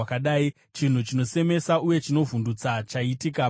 “Chinhu chinosemesa uye chinovhundutsa chaitika panyika.